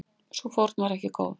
Sú fórn var ekki góð.